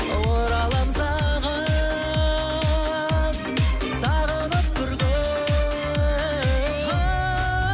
ораламын саған сағынып бір күн о о о